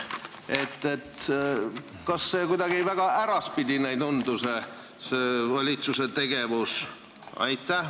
Kas valitsuse selline tegevus kuidagi väga äraspidine ei tundu?